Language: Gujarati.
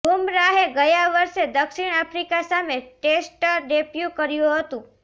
બુમરાહે ગયા વર્ષે દક્ષિણ આફ્રિકા સામે ટેસ્ટ ડેબ્યૂ કર્યું હતું